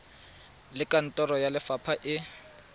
le kantoro ya lefapha e